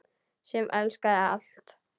Sem elskaði allt.